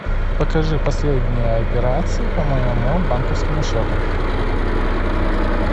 покажи последние операции по моему банковскому счету